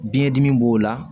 Biyɛn dimi b'o la